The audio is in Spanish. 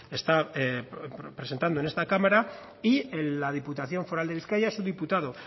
está presentando en esta cámara y la diputación foral de bizkaia su diputado